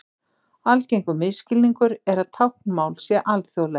Algengur misskilningur er að táknmál sé alþjóðlegt.